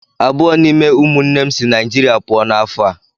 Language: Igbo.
Abụọ n'ime ụmụnne m si Naijirịa pụọ ​​n'afọ a.